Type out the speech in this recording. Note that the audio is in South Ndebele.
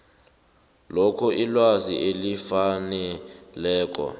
loke ilwazi elifaneleko